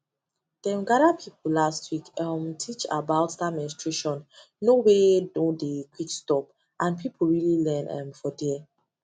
them gather people last week um teach about that mensuration no wey no dey quick stop and people really learn um for there